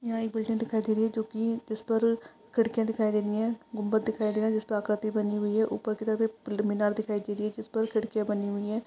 Building दिखाई दे रही है जो की खिड़कियां दिखाई दे रहो है। गुंबत दिखाई दे रही है जिसपे आकृति बनी हुई है ऊपर की तरफ एक पिलुमिनर दिखाई दे रही है जिसपर खिड़कियां बनी हुई है।